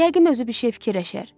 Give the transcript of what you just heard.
Yəqin özü bir şey fikirləşər.